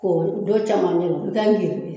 K'o don camancɛla i bi taa girigi